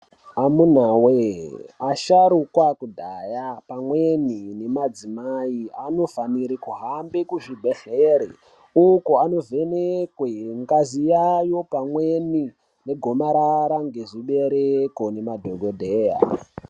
Amunawee, asharukwa akudhaya pamweni nemadzimai, anofanire kuhambe kuzvibhedhlere, uko anovhenekwe ,ngazi yayo, pamweni negomarara ngezvibereko ngemadhokodheya.